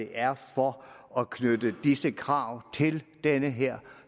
er for at knytte disse krav til den her